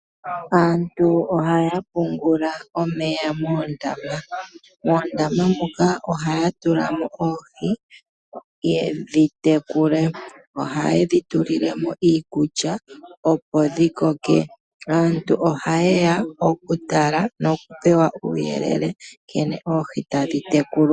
Aantu ohaya pungula omeya moondama, moondama muka ohaya tulamo oohi yedhi tekule. Ohayedhi tulilemo iikulya opo dhi koke. Aantu ohayeya okutala nokupewa uuyelele nkene oohi tadhi tekulwa.